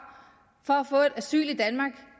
for at få asyl i danmark